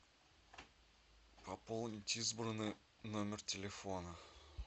пополнить избранный номер телефона